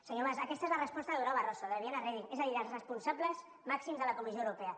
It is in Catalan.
senyor mas aquesta és la resposta de durão barroso de viviane reding és a dir dels responsables màxims de la comissió europea